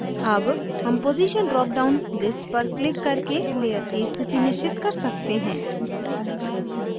अब हम position drop down list पर क्लिक करके layer की स्थिति निश्चित कर सकते हैं